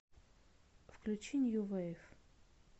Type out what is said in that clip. включи нью вейв